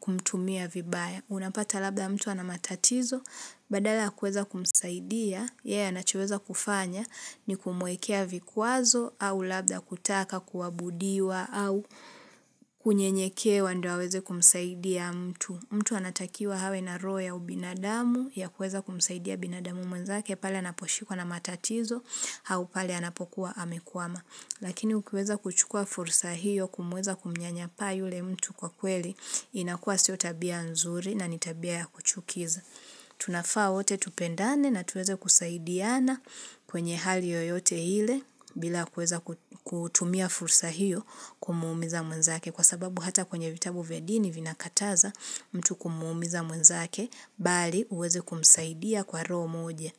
kumtumia vibaya. Unapata labda mtu anamatatizo, badala hakuweza kumsaidia, yeye anacheweza kufanya ni kumwekea vikwazo, au labda kutaka kuwabudiwa, au kunyenyekewa dio aweze kumsaidia mtu. Mtu anatakiwa hawe na roho ubinadamu, ya kuweza kumsaidia binadamu mwenzake, pale anaposhikuwa na matatizo, hau pale anapokuwa amekuama. Lakini ukiweza kuchukua fursa hiyo kumweza kumnyanyasa yule mtu kwa kweli inakua sio tabia nzuri na nitabia ya kuchukiza. Tunafaa wote tupendane na tuweze kusaidiana kwenye hali yoyote hile bila kueza kutumia fursa hiyo kumuumiza mwenzake. Kwa sababu hata kwenye vitabu vya dini vinakataza mtu kumuumiza mwenzake mbali uweze kumsaidia kwa roho moja.